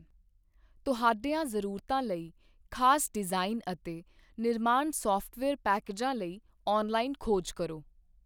ਤੁਹਾਡੀਆਂ ਜ਼ਰੂਰਤਾਂ ਲਈ ਖਾਸ ਡਿਜ਼ਾਇਨ ਅਤੇ ਨਿਰਮਾਣ ਸਾਫਟਵੇਅਰ ਪੈਕੇਜਾਂ ਲਈ ਔਨਲਾਈਨ ਖੋਜ ਕਰੋ।